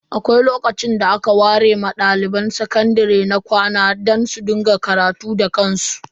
Akwai lokacin da aka ware ma dalibai sakandare na makarantun kwana don karatu da kansu.